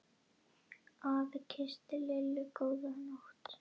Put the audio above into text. Afi kyssti Lillu góða nótt.